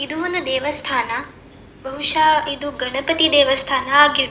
ಇದು ಒಂದು ದೇವಸ್ಥಾನ ಬಹುಶ ಇದು ಗಣಪತಿ ದೇವಸ್ಥಾನ ಆಗಿರ್ಬಹು --